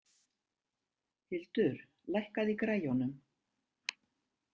Hildur, lækkaðu í græjunum.